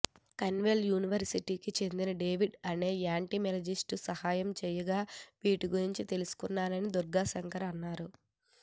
Cornwall యూనివర్శిటీకి చెందిన David అనే ఎంటామోలజిస్ట్ సహాయం చేయగా వీటి గురించి తెలుసుకొన్నానని దుర్గా శంకర్ అన్నారు